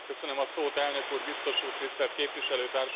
Elnök Úr, Biztos Úr, Tisztelt Képviselőtársaim!